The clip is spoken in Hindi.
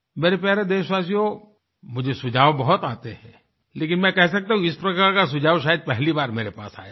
मेरे प्यारे देशवासियों मुझे सुझाव बहुत आते हैं लेकिन मैं कह सकता हूँ कि इस प्रकार का सुझाव शायद पहली बार मेरे पास आया है